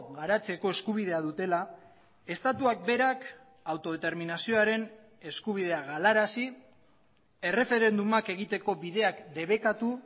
garatzeko eskubidea dutela estatuak berak autodeterminazioaren eskubidea galarazi erreferendumak egiteko bideak debekatu